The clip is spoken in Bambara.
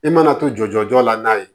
I mana to jɔ la n'a ye